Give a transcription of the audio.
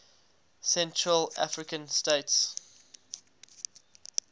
central african states